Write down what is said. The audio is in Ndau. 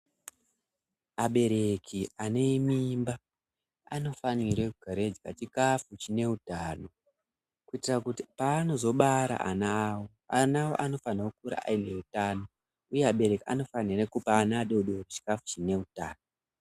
Abereki ane mimba anofanire kugare eidya chikafu chine utano kuitira kuti paanozobara ana awo ana awo anofanire kukura aine utano uye abereki anofanire kupa ana adodori chikafu chine utano.